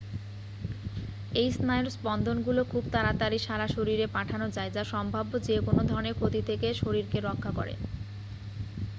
এই স্নায়ুর স্পন্দনগুলো খুব তাড়াতাড়ি সারা শরীরে পাঠানো যায় যা সম্ভাব্য যে কোন ধরণের ক্ষতি থেকে শরীরকে রক্ষা করে